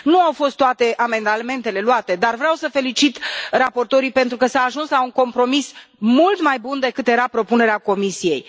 Nu au fost toate amendamentele luate, dar vreau să felicit raportorii pentru că s a ajuns la un compromis mult mai bun decât era propunerea Comisiei.